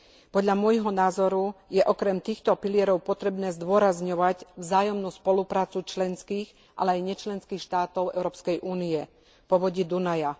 Podľa môjho názoru je okrem týchto pilierov potrebné zdôrazňovať vzájomnú spoluprácu členských, ale aj nečlenských štátov Európskej únie v povodí Dunaja.